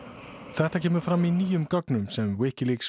þetta kemur fram í nýjum gögnum sem